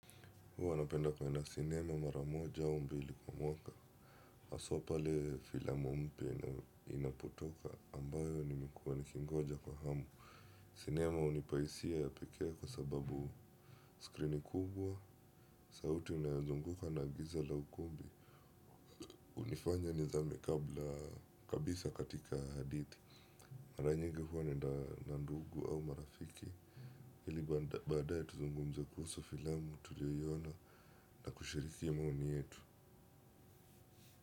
Huwa napenda kuenda sinema maramoja au mbili kwa mwaka. Haswa pale filamu mpya inapotoka ambayo nimekuwa nikingoja kwa hamu. Sinema hunipa hisia ya pekee kwa sababu skrini kubwa, sauti inayozunguka na giza la ukumbi. Hunifanya nizame kabla kabisa katika hadithi. Mara nyingi huwa naenda na ndugu au marafiki. Ili badaya tuzungumze kuhusu filamu tuliyoiona na kushiriki maoni yetu.